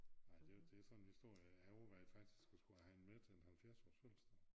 Nej det det sådan en historie jeg overvejede faktisk at skulle have den med til en 70-års fødselsdag